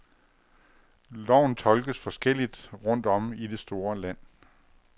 Loven tolkes forskelligt rundt om i det store land.